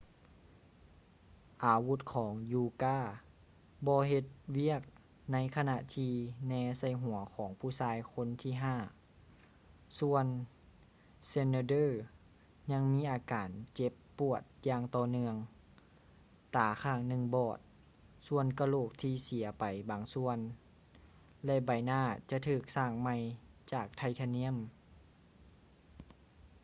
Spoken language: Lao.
ອາວຸດຂອງ uka ບໍ່ເຮັດວຽກໃນຂະນະທີ່ແນໃສ່ຫົວຂອງຜູ້ຊາຍຄົນທີຫ້າ ສ່ວນ schneider ຍັງມີອາການເຈັບປວດຢ່າງຕໍ່ເນື່ອງ ຕາຂ້າງໜຶ່ງບອດ ສ່ວນກະໂຫຼກທີ່ເສຍໄປບາງສ່ວນ ແລະ ໃບໜ້າຈະຖືກສ້າງໃໝ່ຈາກໄທທານຽມ